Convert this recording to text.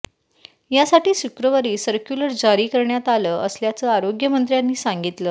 यासाठी शुक्रवारी सर्क्युलर जारी करण्यात आलं असल्याचं आरोग्यमंत्र्यांनी सांगितलं